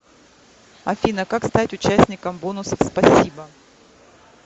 афина как стать участником бонусов спасибо